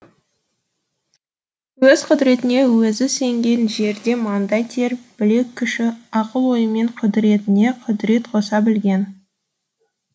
өз құдіретіне өзі сенген жерде маңдай тер білек күші ақыл ойымен құдіретіне құдірет қоса білген